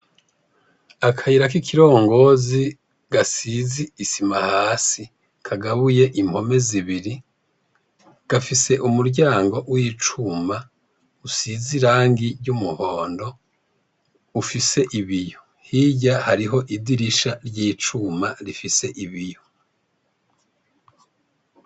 Akayira kikirongozi gasiz' isima hasi, kagabuy' impome zibiri, gafis' umuryango w' icum' usiz' irangi ry' umuhond' ufis' ibiyo, hirya har'idirisha ry' icuma rifis' ibiyo.